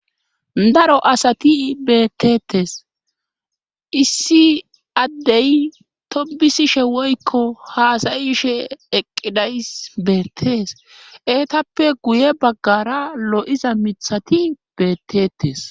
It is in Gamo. Daro asati beettetes issi addey tobisishe woykko haasayishe eqqidays beettees eetappe guye baggara lo7iza mithati beettetes